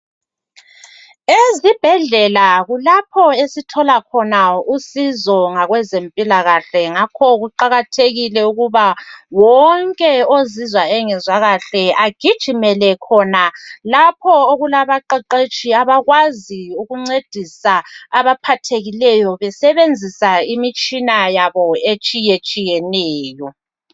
Ezibhedlela kulapho esithola khona usizo ngabezempilakahle ngakho kuqakathekile ukuthi wonke ozizwa engezwa kahle agijimele khona lapho okulabaqeqetshi abakwazi ukuncedisa abaphathekileyo besebenzisa imitshina yabo etshiyeneyo.